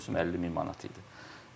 Ötən mövsüm 50 min manat idi.